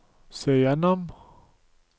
se gjennom